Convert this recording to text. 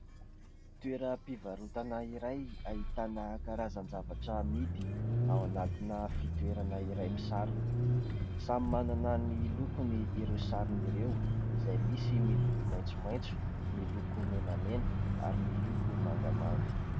Toeram-pivarotana iray ahitana karazan-javatra amidy ao anatina fitoerana iray misarona ; samy manana ny lokony ireo sarony ireo ; izay misy miloko maitsomaitso, miloko menamena ary miloko mangamanga.